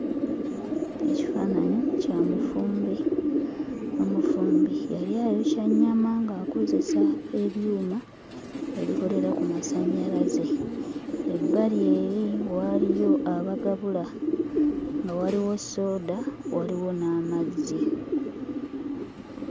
Ekifaananyi kya mufumbi, omufumbi yali ayokya nnyama ng'akozesa ebyuma ebikolera ku masannyalaze, ebbali eri wabaliyo abagabula nga waliwo sooda waliwo n'amazzi.